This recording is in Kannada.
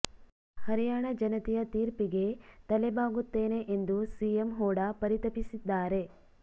ಹರಿಯಾಣ ಜನತೆಯ ತೀಪರ್ಿಗೆ ತಲೆ ಬಾಗುತ್ತೇನೆ ಎಂದು ಸಿಎಂ ಹೂಡಾ ಪರಿತಪಿಸಿದ್ದಾರೆ